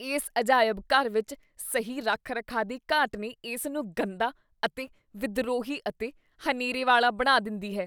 ਇਸ ਅਜਾਇਬ ਘਰ ਵਿੱਚ ਸਹੀ ਰੱਖ ਰਖਾਅ ਦੀ ਘਾਟ ਨੇ ਇਸ ਨੂੰ ਗੰਦਾ ਅਤੇ ਵਿਦਰੋਹੀ ਅਤੇ ਹਨੇਰੇ ਵਾਲਾ ਬਣਾ ਦਿੰਦੀ ਹੈ